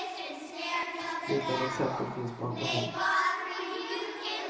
Liknande exempel finns på andra håll.